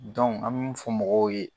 an be min fɔ mɔgɔw ye